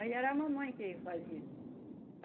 Aí era a mamãe que fazia.